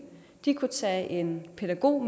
de kunne tage en pædagog